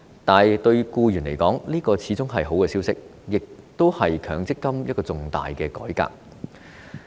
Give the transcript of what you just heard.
但對僱員而言，這始終是個好消息，也是強積金一個重大改革。